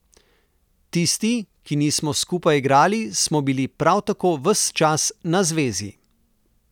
Tisti, ki nismo skupaj igrali, smo bili prav tako ves čas na zvezi.